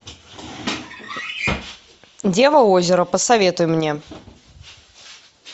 дева озера посоветуй мне